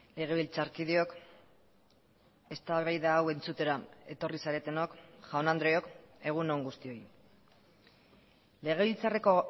legebiltzarkideok eztabaida hau entzutera etorri zaretenok jaun andreok egun on guztioi legebiltzarreko